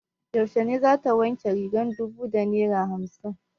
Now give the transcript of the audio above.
Yaushe za ta wanke rigar dubu da naira hamsin?